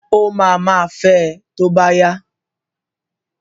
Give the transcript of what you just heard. Ó máa ma fẹ tó bá yá.